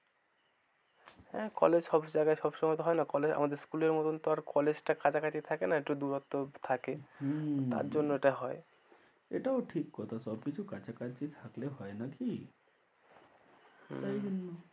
হ্যাঁ College সব জায়গায় সবসময় তো হয়না college আমাদের school এর মতো তো আর college টা কাছাকাছি থাকে না একটু দূরত্ব থাকে হম তার জন্য এটা হয়, এটাও ঠিক কথা সবকিছু কাছাকাছি থাকলে হয় নাকি হম